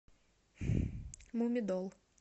мумидол